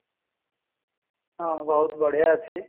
ହଁ ବହୁତ ବଢିଆ ଅଛି